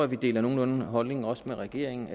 vi deler nogenlunde holdning også med regeringen